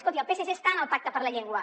escolti el psc està en el pacte per la llengua